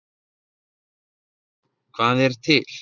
Ef einhver spyr: Hvað er til?